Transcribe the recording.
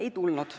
Ei tulnud.